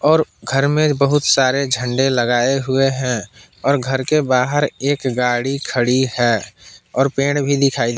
और घर में बहुत सारे झंडे लगाए हुए हैं और घर के बाहर एक गाड़ी खड़ी है और पेड़ भी दिखाई--